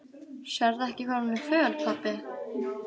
Sérðu ekki hvað hún er föl, pabbi?